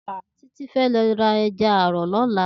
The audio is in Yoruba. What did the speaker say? Titi fè lò rá èjà àrò lòlá